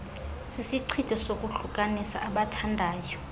sisichitho sokuhlukanisa abathandayo